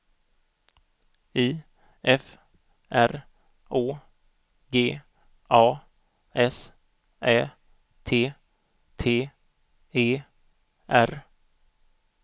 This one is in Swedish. I F R Å G A S Ä T T E R